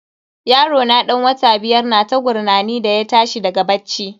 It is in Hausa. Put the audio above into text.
Yarona dan wata biyar na ta gurnani da ya tashi daga bacci.